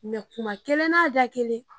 kuma kelen n'a da kelen.